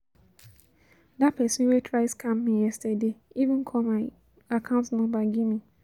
That person wey try scam me yesterday even call my account number give me